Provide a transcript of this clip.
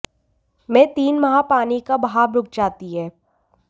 में तीन माह पानी का बहाव रुक जाती है